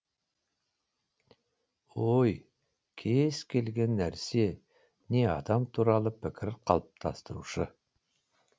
ой кез келген нарсе не адам туралы пікір қалыптастырушы